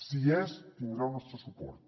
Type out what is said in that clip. si hi és tindrà el nostre suport